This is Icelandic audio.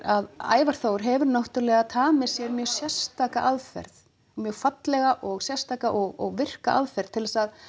að Ævar Þór hefur náttúrulega tamið sér mjög sérstaka aðferð mjög fallega og sérstaka og virka aðferð til þess að